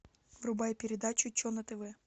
врубай передачу че на тв